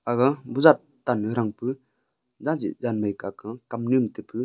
aga bozar tan noi thang pu kaw ke kamnu am taipu.